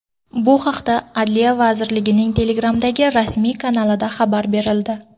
Bu haqda Adliya vazirligining Telegram’dagi rasmiy kanalida xabar berildi .